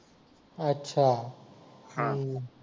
अच्छा